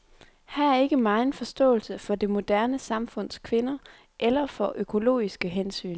Her er ikke megen forståelse for det moderne samfunds kvinder eller for økologiske hensyn.